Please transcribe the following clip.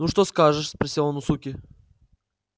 ну что скажешь спросил он у суки